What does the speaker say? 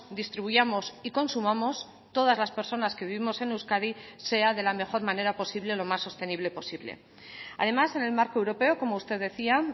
distribuyamos y consumamos todas las personas que vivimos en euskadi sea de la mejor manera posible lo más sostenible posible además en el marco europeo como usted decía